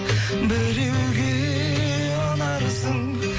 біреуге ұнарсың